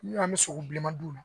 Ni an bɛ sogo bilenman d'u ma